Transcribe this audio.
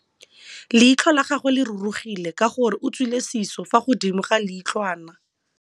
Leitlhô la gagwe le rurugile ka gore o tswile sisô fa godimo ga leitlhwana.